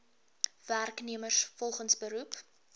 werknemers volgens beroep